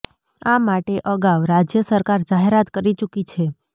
આ માટે અગાઉ રાજ્ય સરકાર જાહેરાત કરી ચૂકી છે